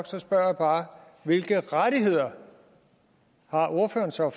så spørger jeg bare hvilke rettigheder har ordføreren så